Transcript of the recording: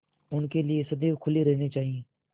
उनके लिए सदैव खुले रहने चाहिए